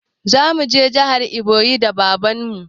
Zamu je jihar eboyin da baban mu